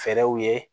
Fɛɛrɛw ye